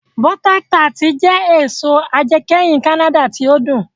Bọ́ta tart jẹ èso ajẹkẹ́hin Kánádà tí ó dùn